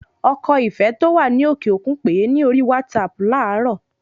Ọkọ Ìfẹ́ tí ó wà ní òkè òkun pèé ní orí WhatsApp láàrọ